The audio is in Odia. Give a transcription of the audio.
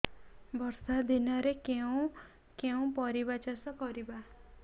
ବର୍ଷା ଦିନରେ କେଉଁ କେଉଁ ପରିବା ଚାଷ କରିବା